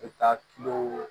I taa kilen